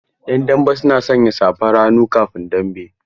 'Yan dambe suna sanya safar hannu kafin dambe.